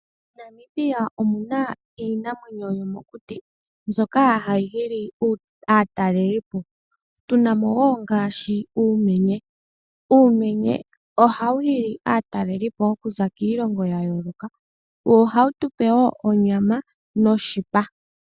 MoNamibia omu na iinamwenyo yomokuti, mbyoka ha yi hili aatalelipo, tu na mo wo, ngaashi uumenye. Uumenye oha wu hili aatalelipo oku za kiilongo y ya yooloka, wo oha wu tu pe wo onyama noshipa.